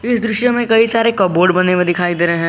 इस दृश्य में कई सारे कपबोर्ड बने हुए दिखाई दे रहे हैं।